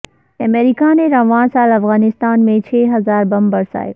امریکہ نے رواں سال افغانستان میں چھ ہزار بم برسائے